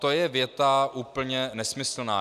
To je věta úplně nesmyslná.